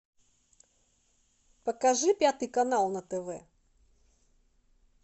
покажи пятый канал на тв